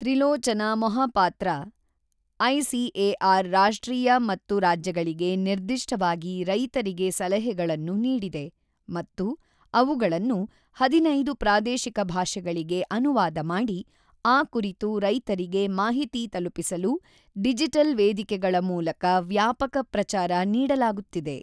Trilochana Mohapatra, ICAR ರಾಷ್ಟ್ರೀಯ ಮತ್ತು ರಾಜ್ಯಗಳಿಗೆ ನಿರ್ದಿಷ್ಟವಾಗಿ ರೈತರಿಗೆ ಸಲಹೆಗಳನ್ನು ನೀಡಿದೆ ಮತ್ತು ಅವುಗಳನ್ನು 15 ಪ್ರಾದೇಶಿಕ ಭಾಷೆಗಳಿಗೆ ಅನುವಾದ ಮಾಡಿ, ಆ ಕುರಿತು ರೈತರಿಗೆ ಮಾಹಿತಿ ತಲುಪಿಸಲು ಡಿಜಿಟಲ್ ವೇದಿಕೆಗಳ ಮೂಲಕ ವ್ಯಾಪಕ ಪ್ರಚಾರ ನೀಡಲಾಗುತ್ತಿದೆ.